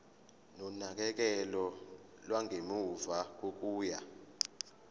nonakekelo lwangemuva kokuya